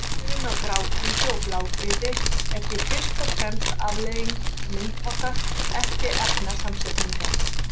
Munurinn á grágrýti og blágrýti er því fyrst og fremst afleiðing myndunarhátta, ekki efnasamsetningar.